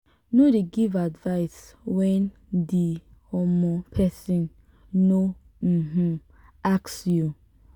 no dey give advice when di um person no um ask you